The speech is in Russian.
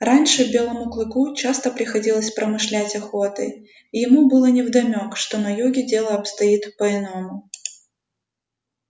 раньше белому клыку часто приходилось промышлять охотой и ему было невдомёк что на юге дело обстоит по иному